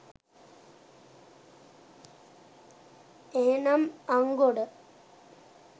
එහෙමනම් අංගොඩ